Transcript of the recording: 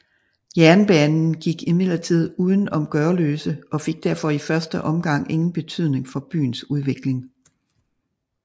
Jernbanen gik imidlertid uden om Gørløse og fik derfor i første omgang ingen betydning for byens udvikling